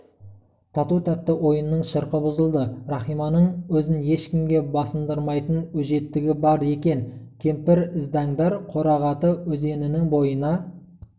тату-тәтті ойынның шырқы бұзылды рахиманың өзін ешкімге басындырмайтын өжеттігі бар екен кемпір іздәндар қорағаты өзенінің бойына